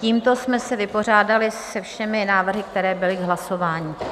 Tímto jsme se vypořádali se všemi návrhy, které byly k hlasování.